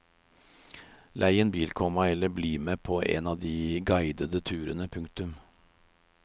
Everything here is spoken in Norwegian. Lei en bil, komma eller bli med på en av de guidede turene. punktum